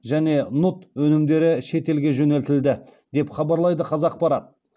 және нұт өнімдері шетелге жөнелтілді деп хабарлайды қазақпарат